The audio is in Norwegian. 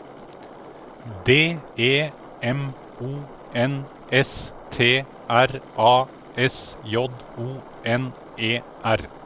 D E M O N S T R A S J O N E R